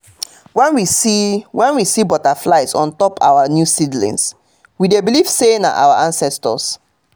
when we see when we see butterflies on top our new seedlings we dey believe say na our ancestors.